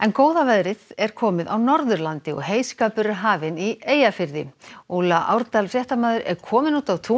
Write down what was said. góða veðrið er komið á Norðurlandi og heyskapur er hafinn í Eyjafirði Árdal fréttamaður er komin út á tún